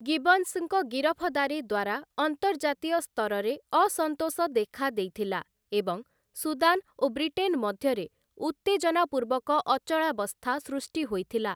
ଗିବନ୍ସଙ୍କ ଗିରଫଦାରୀ ଦ୍ୱାରା ଅନ୍ତର୍ଜାତୀୟ ସ୍ତରରେ ଅସନ୍ତୋଷ ଦେଖାଦେଇଥିଲା ଏବଂ ସୁଦାନ ଓ ବ୍ରିଟେନ୍‌ ମଧ୍ୟରେ ଉତ୍ତେଜନାପୂର୍ବକ ଅଚଳାବସ୍ଥା ସୃଷ୍ଟି ହୋଇଥିଲା ।